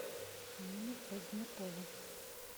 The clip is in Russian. нину позднякову